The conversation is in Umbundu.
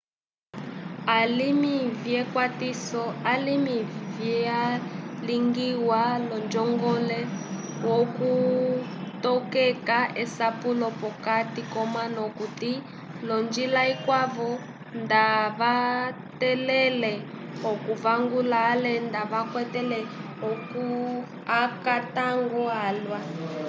alimi vyekwatiso alimi vyalingiwa l'onjomgole yokutokeka esapulo p'okati k'omanu okuti l'onjila ikwavo nda kavatẽlele okuvangula ale nda vakwata akatango alwa